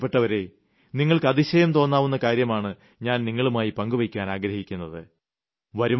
പക്ഷേ എന്റെ പ്രിയപ്പെട്ടവരേ നിങ്ങൾക്ക് അതിശയം തോന്നാവുന്ന കാര്യമാണ് ഞാൻ നിങ്ങളുമായി പങ്കുവെയ്ക്കുവാൻ ആഗ്രഹിക്കുന്നത്